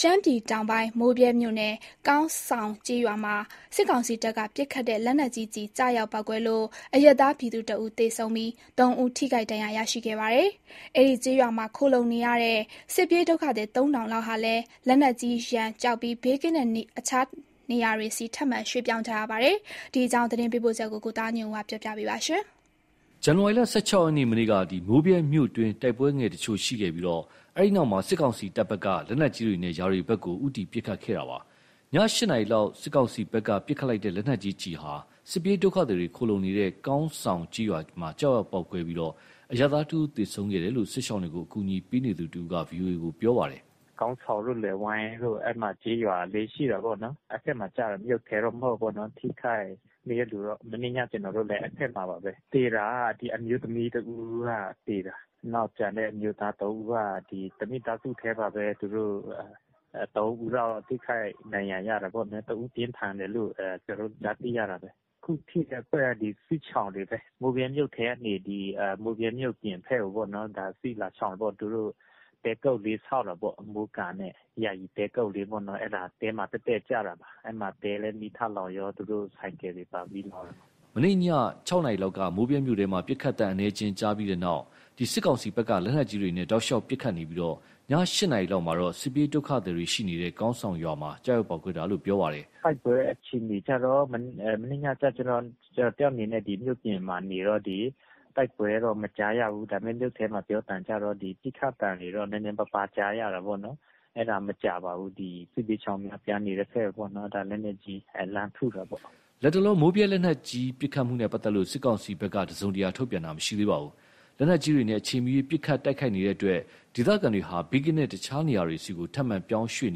ရှမ်းပြည်တောင်ပိုင်း မိုးဗြဲမြို့နယ် ကောင်းဆောင်ကျေးရွာမှာ စစ်ကောင်စီတပ်က ပစ်ခတ်တဲ့ လက်နက်ကြီးကျရောက်ပေါက်ကွဲလို့ အရပ်သားပြည်သူ ၁ ဦးသေဆုံးပြီး ၃ ဦး ထိခိုက်ဒဏ်ရာရရှိခဲ့ပါတယ်။ အဲဒီကျေးရွာမှာ ခုံလှုံနေတဲ့ စစ်ပြေးဒုက္ခသည် သုံးထောင်လောက်ဟာလည်း၊ လက်နက်ကြီးရန်ကြောက်ပြီး ဘေးကင်းတဲ့တခြားနေရာတွေဆီ ထပ်မံရွေ့ပြောင်းကြရပါတယ်။ ဒီအကြောင်း သတင်းပေးပို့ချက်ကို ကိုသားညွန့်ဦး ပြောပြမှာပါ။ ဇန်နဝါရီ ၁၆ ရက်နေ့ မနေ့က မိုးဗြဲမြို့တွင်း တိုက်ပွဲငယ်တချို့ရှိခဲ့ပြီး၊ အဲဒီနောက် စစ်ကောင်စီတပ်ဖက်က လက်နက်ကြီးတွေနဲ့ ရွာတွေဖက်ကို ဦးတည်ပစ်ခတ်ခဲ့တာပါ။ ည ၈နာရီလောက် စစ်ကောင်စီဖက်က ပစ်ခတ်လိုက်တဲ့ လက်နက်ကြီးကျည်ဟာ စစ်ပြေးဒုက္ခသည်တွေ ခိုလှုံကြတဲ့ ကောင်းဆောင်ကျေးရွာ ကျရောက်ပေါက်ကွဲပြီး၊ အရပ်သားတဦးသေဆုံးခဲ့တယ်လို့ စစ်ရှောင်တွေကို အကူအညီပေးနေသူတဦးက ဗွီအိုအေကို ပြောပါတယ်။ “ကောင်းဆောင်တို့ လယ်ဝိုင်းတို့ အဲ့မှာ ကျေးရွာလေး ရှိတာပေါ့နော် အဲ့ဖက်မှာကျတယ်၊ မြို့ထဲတော့ မဟုတ်ဘူးပေါ့နော် ထိခိုက်နေတဲ့လူက၊ မနေ့ည ကျနော်တို့လည်း အဲ့ဖက်မှာပါပဲ၊ သေတာ ဒီအမျိုးသမီးတစ်ဦးက သေတာ နောက်ကျတဲ့ အမျိုးသား သုံးဦးက ဒီတစ်မိသားစုထဲပါပဲ သူတို့ သုံးဦးလောက် ထိခိုက်ဒဏ်ရာရတာပေါ့ တစ်ဦးပြင်းထန်တယ်လို့ ကျနော်တို့ ကြားသိရတာပဲ။ ခုထိတဲ့ အဖွဲ့က ဒီစစ်ရှောင်တွေပဲ မိုးဗြဲမြို့ကနေ ဒီမိုးဗြဲမြို့အပြင်ဖက်ကိုပေါ့နော် ဒါစစ်လာရှောင်တာပေါ့၊ သူတို့ တဲကုတ်လေးဆောက်တာပေါ့ မိုးကားနဲ့ ယာယီတဲကုတ်လေးပေါ့နော် အဲ့ဒါတဲမှာ တည့်တည့်ကျတာပါ အဲ့မှာ တဲလည်း မီးထလောင်ရော သူတို့ ဆိုင်ကယ်တွေပါ မီးလောင်ရော။” မနေ့ည ၆နာရီလောက်က မိုးဗြဲမြို့ထဲမှာ ပစ်ခတ်သံအနည်းငယ် ကြားပြီးနောက် စစ်ကောင်စီဖက်က လက်နက်ကြီးတွေနဲ့ တောက်လျှောက်ပစ်ခတ်နေပြီး ည ၈နာရီလောက်မှာတော့ စစ်ပြေးဒုက္ခသည်ရှိတဲ့ ကောင်းဆောင်ရွာမှာ ကျရောက်ပေါက်ကွဲတာလို့ ပြောပါတယ်။ “တိုက်ပွဲအခြေအနေကျတော့ မနေ့ညကျတော့ ကျနော်တစ်ယောက်အနေနဲ့ ဒီမြို့အပြင်မှာ နေတော့ ဒီတိုက်ပွဲတော့ မကြားရဘူး၊ ဒါပေမယ့် မြို့ထဲမှာ ပြောသံကြားကျတော့ ဒီပစ်ခတ်သံတွေတော့ နည်းနည်းပါးပါးကြားရတာပေါ့နော်၊ အဲ့ဒါမကြားပါဘူး ဒီစစ်ဘေးရှောင်ပြန်နေတဲ့ဖက်ကိုပေါ့နော် ဒါလက်နက်ကြီး လှမ်းထုတာပေါ့။” လတ်တလော မိုးဗြဲလက်နက်ကြီး ပစ်ခတ်မှုနဲ့ ပတ်သက်လို့ စစ်ကောင်စီဖက်က တစ်စုံတရာထုတ်ပြန်တာ မရှိသေးဘူး။ လက်နက်ကြီးတွေနဲ့ အချိန်မရွေး ပစ်ခတ်တိုက်ခိုက်နေတဲ့အတွက် ဒေသခံတွေဟာ ဘေးကင်းတဲ့ တခြားနေရာတွေဆီ ထပ်မံပြောင်းရွှေ့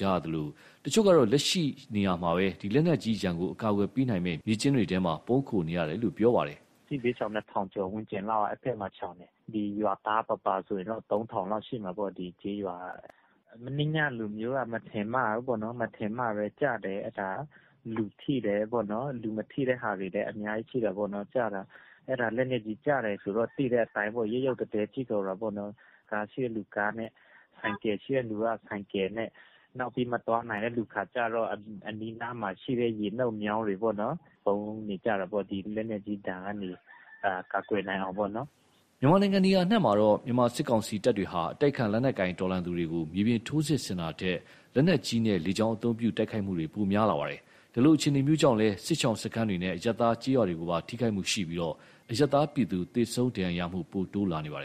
ကြသလို တချို့ က လက်ရှိနေရာမှာပဲ လက်နက်ကြီးရန်ကာကွယ်နိုင်မယ့် မြေကျင်းတွေထဲ ပုန်းခိုနေရတာလို့ ပြောဆိုပါတယ်။ “စစ်ဘေးရှောင် ၂,၀၀၀ ကျော်ဝန်းကျင်လောက်က အဲ့ဖက်မှာ စစ်ရှောင်တယ် ရွာသားပါပါဆိုရင်တော့ ၃,၀၀၀ လောက်ရှိမယ်ပေါ့ ဒီကျေးရွာက၊ မနေ့ညကလိုမျိုးတော့ မထင်မှတ်ဘူးပေါ့နော် မထင်မှတ်ပဲကျတယ် အဲ့ဒါလူထိတယ်ပေါ့နော် လူမထိတဲ့ဟာတွေလည်း အများကြီးရှိတာပေါ့နော် ကျတာ၊ အဲ့ဒါလက်နက်ကြီးကျတယ်ဆိုတော့ သိတဲ့အတိုင်းပေါ့ ရုတ်ရုတ်သဲသဲဖြစ်ကုန်တာပေါ့နော်၊ ကားရှိတဲ့လူကားနဲ့ ဆိုင်ကယ်ရှိတဲ့လူ ဆိုင်ကယ်နဲ့ နောက်ပြီးမသွားနိုင်တဲ့လူခါကျတော့ အနီးအနားမှာ ရှိတဲ့ ရေနုတ်မြောင်းတွေပေ့ါနော် ပုန်းနေကြတာပေါ့ ဒီလက်နက်ကြီးဒဏ်ကနေ ကာကွယ်နိုင်အောင်ပေါ့နော်။” နိုင်ငံနေရာအနှံမှာတော့ မြန်မာစစ်ကောင်စီတပ်တွေဟာ အတိုက်အခံလက်နက်ကိုင်တော်လှန်သူတွေကို မြေပြင်ထိုးစစ်ဆင်တာထက်၊ လက်နက်ကြီးနဲ့ လေကြောင်းအသုံးပြု တိုက်ခိုက်မှုတွေ ပိုများလာပါတယ်။ ဒီလိုအခြေအနေကြောင့် စစ်ရှောင်စခန်းတွေနဲ့ အရပ်သားကျေးရွာတွေကိုပါ ထိခိုက်မှုရှိပြီး၊ အရပ်သားပြည်သူ သေဆုံး ဒဏ်ရာရမှု ပိုတိုးလာပါတယ်